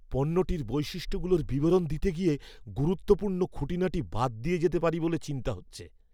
পণ্যটার বৈশিষ্ট্যগুলোর বিবরণ দিতে গিয়ে গুরুত্বপূর্ণ খুঁটিনাটি বাদ দিয়ে যেতে পারি বলে চিন্তা হচ্ছে।